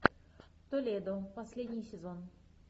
толедо последний сезон